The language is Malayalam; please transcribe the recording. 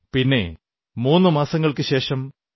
പിന്നെ മൂന്നു മാസങ്ങൾക്കുശേഷം ഡോ